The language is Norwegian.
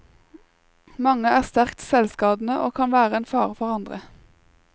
Mange er sterkt selvskadende og kan være en fare for andre.